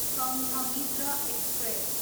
Sanghamitra express